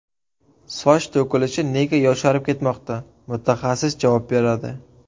Soch to‘kilishi nega yosharib ketmoqda – mutaxassis javob beradi.